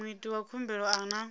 muiti wa khumbelo a na